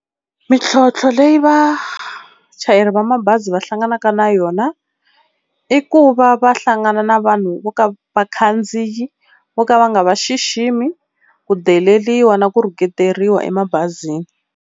Mintlhontlho leyi vachayeri va mabazi va hlanganaka na yona i ku va va hlangana na vanhu vo ka vakhandziyi vo ka va nga va xiximi ku deleriwa na ku rhuketeriwa emabazini.